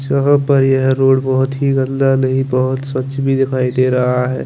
यहाँ पर यह रोड बहोत गंदा नही बहोत ही स्वच्छ भी दिखाई दे रहा है।